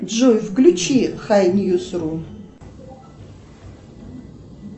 джой включи хай ньюс ру